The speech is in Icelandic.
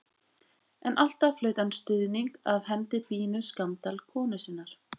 En alltaf hlaut hann stuðning af hendi Bínu Skammdal konu sinnar.